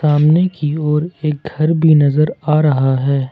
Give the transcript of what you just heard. सामने की ओर एक घर भी नजर आ रहा है।